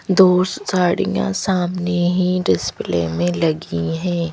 दो साड़ियां सामने ही डिस्प्ले में लगी हैं।